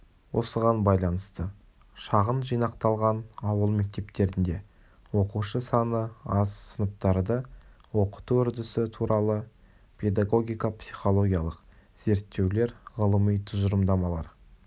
осыған байланысты шағын жинақталған ауыл мектептерінде оқушы саны аз сыныптарды оқыту үрдісі туралы педагогика-психологиялық зерттеулер ғылыми тұжырымдамалар